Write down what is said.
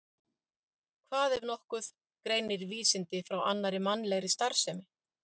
Hvað, ef nokkuð, greinir vísindi frá annarri mannlegri starfsemi?